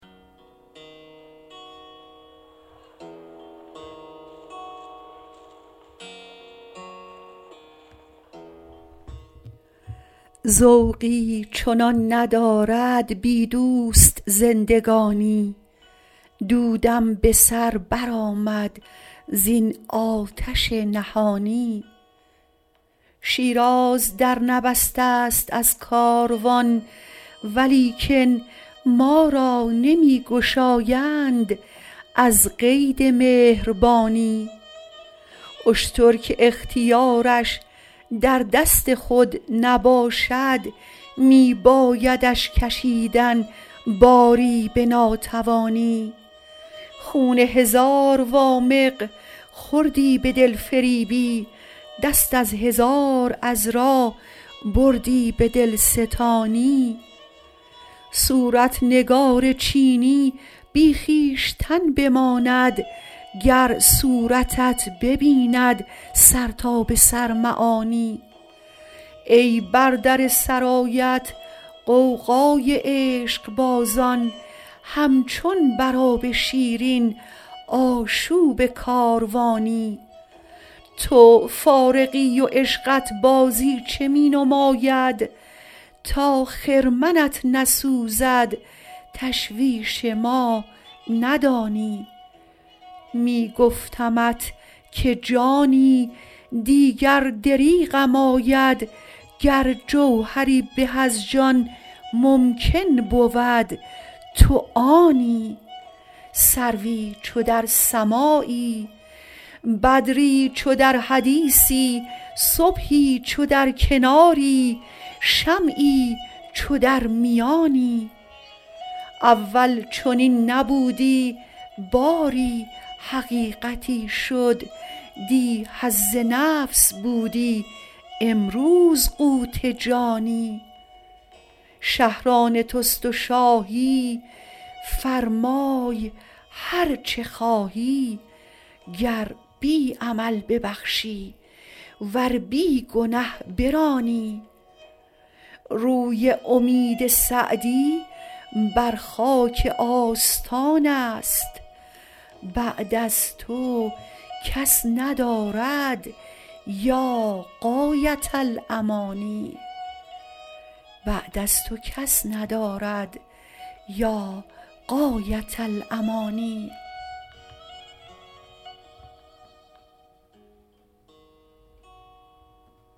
ذوقی چنان ندارد بی دوست زندگانی دودم به سر برآمد زین آتش نهانی شیراز در نبسته ست از کاروان ولیکن ما را نمی گشایند از قید مهربانی اشتر که اختیارش در دست خود نباشد می بایدش کشیدن باری به ناتوانی خون هزار وامق خوردی به دلفریبی دست از هزار عذرا بردی به دلستانی صورت نگار چینی بی خویشتن بماند گر صورتت ببیند سر تا به سر معانی ای بر در سرایت غوغای عشقبازان همچون بر آب شیرین آشوب کاروانی تو فارغی و عشقت بازیچه می نماید تا خرمنت نسوزد تشویش ما ندانی می گفتمت که جانی دیگر دریغم آید گر جوهری به از جان ممکن بود تو آنی سروی چو در سماعی بدری چو در حدیثی صبحی چو در کناری شمعی چو در میانی اول چنین نبودی باری حقیقتی شد دی حظ نفس بودی امروز قوت جانی شهر آن توست و شاهی فرمای هر چه خواهی گر بی عمل ببخشی ور بی گنه برانی روی امید سعدی بر خاک آستان است بعد از تو کس ندارد یا غایة الامانی